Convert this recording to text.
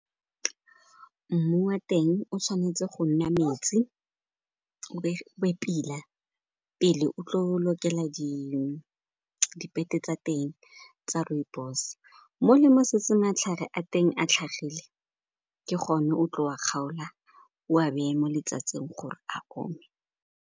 Mmu wa teng o tshwanetse go nna metsi, o be pila pele o tlo lokela dipete tsa teng tsa rooibos. Mo le mo setse matlhare a teng a tlhagile, ke gone o tlo wa kgaola, o a beye mo letsatsing gore a gore a o me.